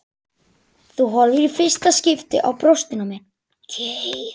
Þú horfir í fyrsta skipti á brjóstin á mér.